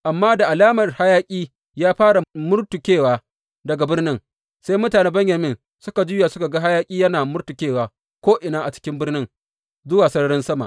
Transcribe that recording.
Amma da alamar hayaƙi ya fara murtukewa daga birnin, sai mutanen Benyamin suka juya suka ga hayaƙi yana murtukewa ko’ina a cikin birnin zuwa sararin sama.